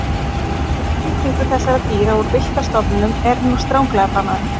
Útflutningur þessara dýra úr villta stofninum er nú stranglega bannaður.